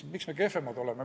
Miks meie kehvemad oleme?